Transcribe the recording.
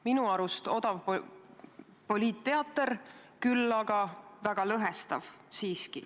Minu arust odav poliitteater, küll aga väga lõhestav.